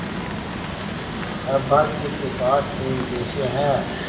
अभागे के पास तीन पैसे है